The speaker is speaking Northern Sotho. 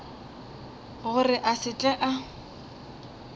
gore a se tle a